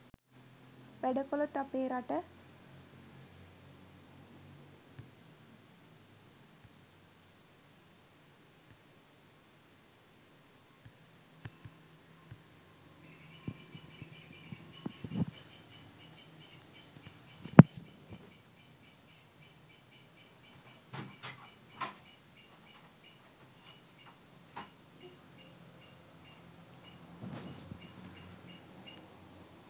වැඩ කලොත් අපේ රට